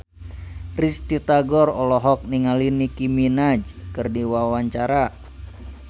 Risty Tagor olohok ningali Nicky Minaj keur diwawancara